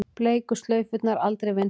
Bleiku slaufurnar aldrei vinsælli